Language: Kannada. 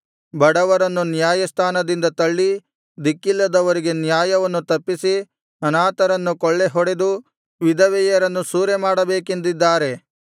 ಬಡವರನ್ನು ನ್ಯಾಯಸ್ಥಾನದಿಂದ ತಳ್ಳಿ ದಿಕ್ಕಿಲ್ಲದವರಿಗೆ ನ್ಯಾಯವನ್ನು ತಪ್ಪಿಸಿ ಅನಾಥರನ್ನು ಕೊಳ್ಳೆಹೊಡೆದು ವಿಧವೆಯರನ್ನು ಸೂರೆಮಾಡಬೇಕೆಂದಿದ್ದಾರೆ